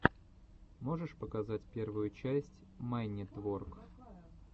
можешь показать первую часть майнитворк